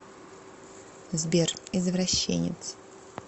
сбер извращенец